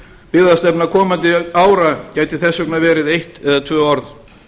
byggðastefna komandi ára gæti þess vegna verið eitt og tvö orð